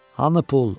Hanı pul?